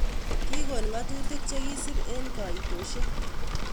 kigon ngatutik chekisip en kaitoshek